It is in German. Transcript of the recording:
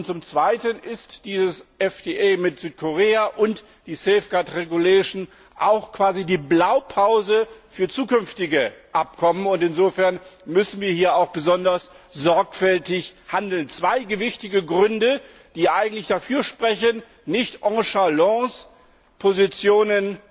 Zum Zweiten sind dieses Freihandelsabkommen mit Südkorea und die Safeguard Regulation auch quasi die Blaupause für zukünftige Abkommen, und insofern müssen wir hier auch besonders sorgfältig handeln. Dies sind zwei gewichtige Gründe, die eigentlich dafür sprechen, nicht nonchalant Positionen